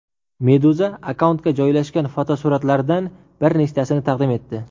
Meduza akkauntga joylangan fotosuratlardan bir nechtasini taqdim etdi .